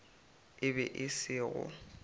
e be e se go